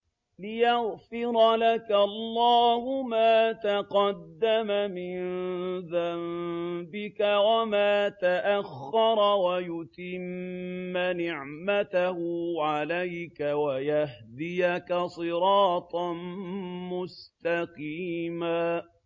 لِّيَغْفِرَ لَكَ اللَّهُ مَا تَقَدَّمَ مِن ذَنبِكَ وَمَا تَأَخَّرَ وَيُتِمَّ نِعْمَتَهُ عَلَيْكَ وَيَهْدِيَكَ صِرَاطًا مُّسْتَقِيمًا